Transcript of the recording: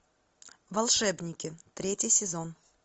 волшебники третий сезон